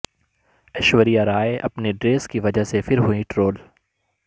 ایشوریہ رائے اپنی ڈریس کی وجہ سے پھر ہوئی ٹرول